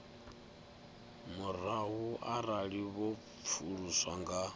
murahu arali vho pfuluswa nga